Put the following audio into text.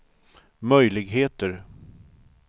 möjligheter